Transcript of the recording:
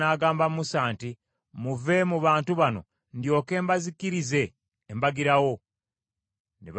“Muve mu bantu bano ndyoke mbazikirize embagirawo.” Ne bavuunama wansi.